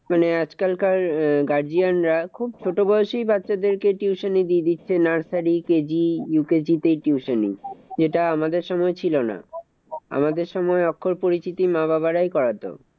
মানে আজকালকার আহ guardian রা খুব ছোট বয়সেই বাচ্চাদেরকে tuition এ দিয়ে দিচ্ছে nursery KGUKG তে tuition. যেটা আমাদের সময় ছিল না। আমাদের সময় অক্ষর পরিচিতি মা বাবা রাই করাতো।